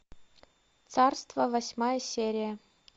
царство восьмая серия